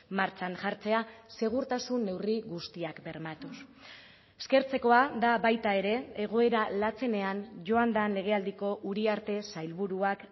martxan jartzea segurtasun neurri guztiak bermatuz eskertzekoa da baita ere egoera latzenean joan den legealdiko uriarte sailburuak